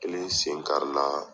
Kelen sen kari la